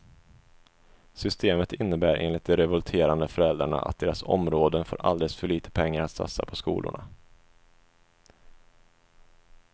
Systemet innebär enligt de revolterande föräldrarna att deras områden får alldeles för lite pengar att satsa på skolorna.